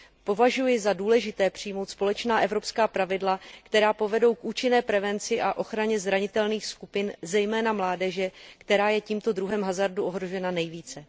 Považuji za důležité přijmout společná evropská pravidla, která povedou k účinné prevenci a ochraně zranitelných skupin, zejména mládeže, která je tímto druhem hazardu ohrožena nejvíce.